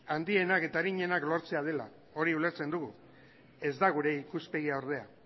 handienak eta arinenak lortzea dela hori ulertzen dugu ez da gure ikuspegia ordea